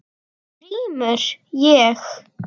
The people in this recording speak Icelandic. GRÍMUR: Ég?